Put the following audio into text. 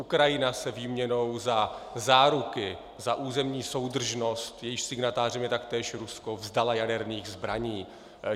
Ukrajina se výměnou za záruky za územní soudržnost, jejichž signatářem je taktéž Rusko, vzdala jaderných zbraní.